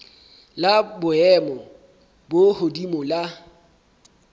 la boemo bo hodimo la